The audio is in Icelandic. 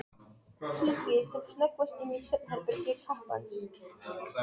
Kíkir sem snöggvast inn í svefnherbergi kappans.